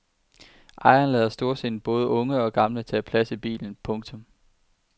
Ejeren lader storsindet både unge og gamle tage plads i bilen. punktum